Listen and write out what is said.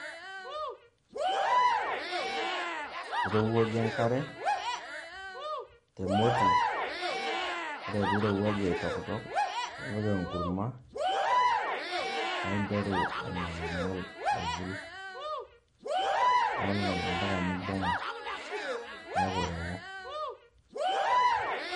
Irowuajie enkare te moti ore piirowuaju aitokitok nipik enkurma paa interu aing'oling'ol aiwul ing'oling'ol mpaka nibung'a neeku ewo.